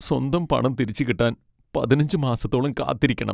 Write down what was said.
സ്വന്തം പണം തിരിച്ചു കിട്ടാൻ പതിനഞ്ച് മാസത്തോളം കാത്തിരിക്കണം.